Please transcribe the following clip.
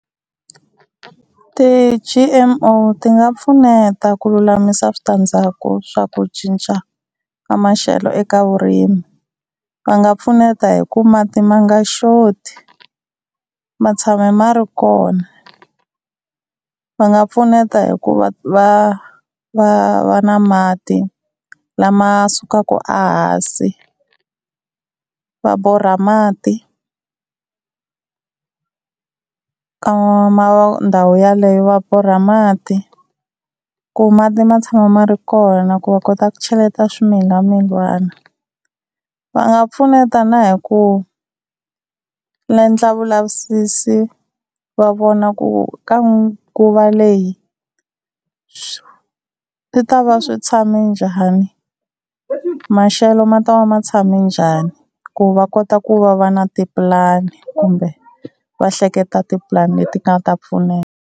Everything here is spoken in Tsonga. Ti-G_M_O ti nga pfuneta ku lulamisa switandzhaku swa ku cinca ka maxelo eka vurimi, va nga pfuneta hi ku mati ma nga xoti ma tshama ma ri kona. Va nga pfuneta hi ku va va va na mati lama sukaka a hansi, va borha mati ka ndhawu yeleyo va borha mati ku mati ma tshama ma ri kona ku va kota ku cheleta swimilamilana. Va nga pfuneta na hi ku endla vulavisisi va vona ku ka nguva leyi swi ta va swi tshame njhani, maxelo ma ta va ma tshame njhani ku va kota ku va va na tipulani kumbe va hleketa tipulani leti nga ta pfuneta.